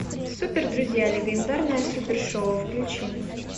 супер друзья легендарное супер шоу включи